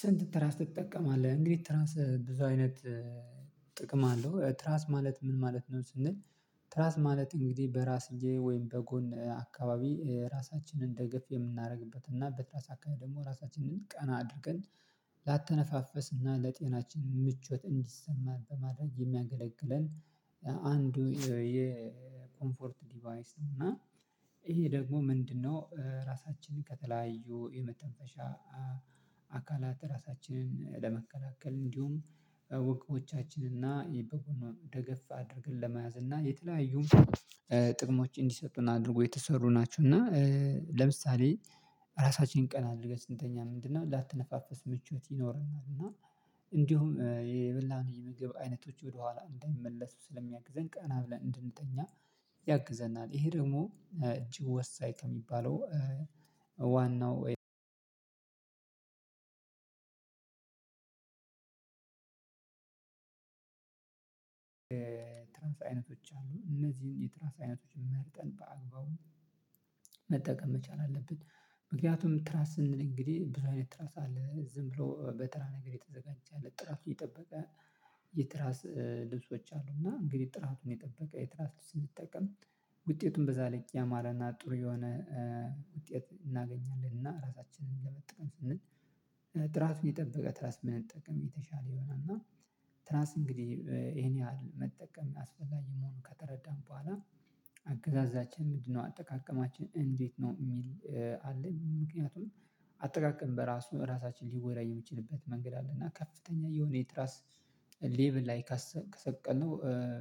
ስንት ትራስ ትጠቀማለህ እንግዲህ ትራስ ብዙ አይነት ጥቅም አለው ትራስ ማለት ምን ማለት ነው ስንል? ትራስ ማለት እንግዲህ በራስጌ ወይም በጎን አካባቢ ራሳችንን ደገፍ የምናደርግበት እና በትራስ አካባቢ ደግሞ ራሳችንን ቀና አድርገን ላተነፋፈስ እና ለጤናችን ምቾት እንዲሰማን በማድረግ የሚያገለግለን አንዱ የኮምፎርት ዲቫይስ ነው። እና ይሄ ደግሞ ምንድነው ራሳችንን ከተለያዩ የመተንፈሻ አካላት ራሳችንን ለመከላከል እንዲሁም ወገቦቻቸን እና ደገፍ አድርገን ለመያዝ እና የተለያዩ ጥቅሞች እንዲሰጡን አድርጎ የተሰሩ ናቸው። እና ለምሳሌ ራሳችንን ቀና አድርገን ስንተኛ ምንድነው ላተነፋፈስ ምቾት ይኖረናል እና እንዲሁም የበላን የምግብ አይነቶች ወደኋላ እንዳይመለሱ ስለሚያግዘን ቀና ብለን እንድንተኛ ያግዘናል። ይሄ ደግሞ እጅግ ወሳኝ ከሚባለው ዋናው ትራስ አይነቶች አሉ እነዚህን የትራስ አይነቶችን መርጠን በአግባቡ መጠቀም መቻል አለብን። ምክንያቱም ትራስን እንግዲህ ብዙ አይነት ትራስ አለ ዝም ብሎ በተራ ነገር የተዘጋጀ አለ ጥራቱ የጠበቀ የትራስ ልብሶች አሉ። እና እንግዲህ ጥራቱን የጠበቀ የትራስ ስንጠቀም ውጤቱን በዛ ላይ ያማረ እና ጥሩ የሆነ ውጤት እናገኛለን እና ራሳችንን ለመጠቀም ስንል ጥራቱ የጠበቀ ትራስ ብንጠቀም የተሻለ ይሆናል። እና ትራስ እንግዲህ ይሄን ያህል መጠቀም አስፈልጊ መሆኑን ከተረዳን በኋላ አገዛዛችን ምንድነው አጠቃቀማችን እንዴት ነው የሚል አለ? ምክንያቱም አጠቃቀም በራሱ ራሳችን ሊጎዳ የሚችልበት መንገድ አለ። እና ከፍተኛ የሆነ የትራስ ሌቭል ላይ ከሰቀልነው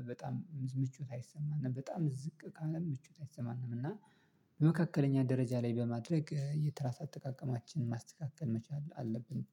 በጣም ምቾት አይሰማንም በጣም ዝቅ ካለ ምቾት አይሰማንም። እና በመካከለኛ ደረጃ ላይ በማድረግ የትራስ አጠቃቀማችንን ማስተካከል መቻል አለብን